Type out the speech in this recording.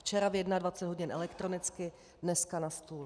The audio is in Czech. Včera ve 21 hodin elektronicky, dneska na stůl.